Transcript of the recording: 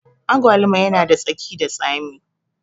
Agwaluma yana da tsaki da tsami